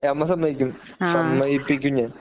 അമ്മ സമ്മതിക്കും സമ്മതിപ്പിക്കും ഞാൻ